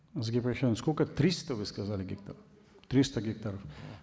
сколько триста вы сазали гектаров триста гектаров